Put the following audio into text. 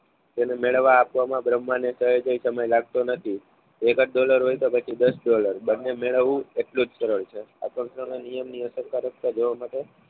તેને મેળવવા બ્રહ્મને કહે છે સમય લાગતો નથી એકાદ ડોલર હોય તો પછી દસ દોલર બંને મેળવવું એટલું જ સરળ છે. આકર્ષણના નિયમની અશરકારકતા જોવા માટે